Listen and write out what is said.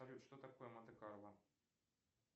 салют что такое монте карло